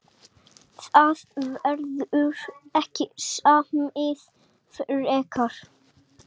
Það verður ekki samið frekar